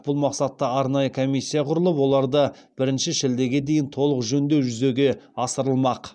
бұл мақсатта арнайы комиссия құрылып оларды бірінші шілдеге дейін толық жөндеу жүзеге асырылмақ